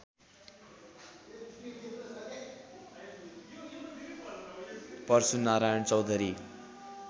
Parshunarayan Chaudhary